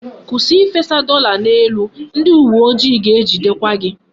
Kwụsị ifesa dọla n'elu! Ndị uwe ojii ga-ejidekwa gị.